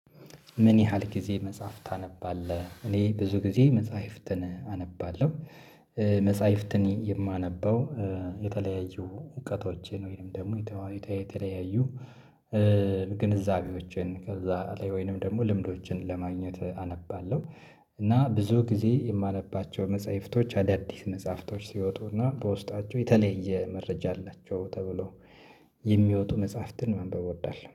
ምን ያህል ጊዜ መጽሐፍ ታነባለህ? እኔ ብዙ ጊዜ መጽሐፍትን አነባለሁ መጽሐፍትን የማነበው የተለያዩ እውቀቶቼን ወይንም ደግሞ የተለያዩ ግንዛቤዎችን ከዚያ ላይ ወይንም ደግሞ ልምዶችን ለማግኘት አነባለሁ። እና ብዙ ጊዜ የማነባቸው መጽሐፍቶች አዳዲስ መጽሐፍቶች ሲወጡና በውስጣቸው የተለየ መረጃ አላቸው ተብሎ የሚወጡ መጽሐፍትን መንበብ እወዳለሁ።